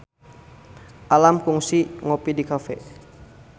Alam kungsi ngopi di cafe